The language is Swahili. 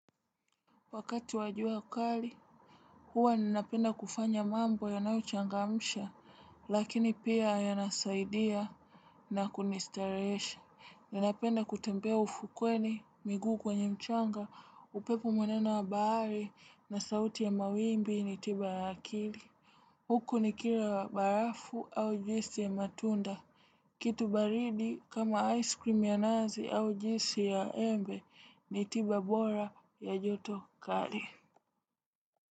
Wakati wajua kali, huwa ninapenda kufanya mambo yanaochangamsha, lakini pia yanasaidia na kunistarehesha. Ninapenda kutembea ufukweni miguu kwenye mchanga upepo mwenendo wa bahari na sauti ya mawimbi ni tiba ya akili. Huku nikila wa barafu au juisi ya matunda. Kitu baridi kama ice cream ya nazi au juisi ya embe ni tiba bora ya joto kali.